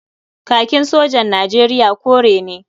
Kakin sojan Nijeriya kore ne.